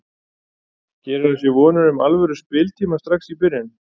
Gerir hann sér vonir um alvöru spiltíma strax í byrjun?